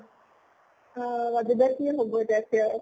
অʼ ৰাজু দাৰ কি হʼব এতিয়া তেওঁৰ